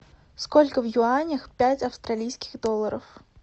сколько в юанях пять австралийских долларов